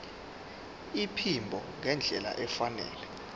iphimbo ngendlela efanele